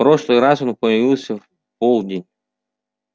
в прошлый раз он появился в полдень